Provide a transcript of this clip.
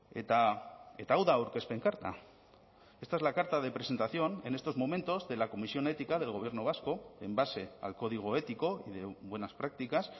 eta hau da aurkezpen karta esta es la carta de presentación en estos momentos de la comisión ética del gobierno vasco en base al código ético y de buenas prácticas